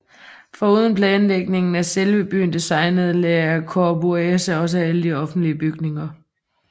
Foruden planlægning af selve byen designede Le Corbusier også alle offentlige bygninger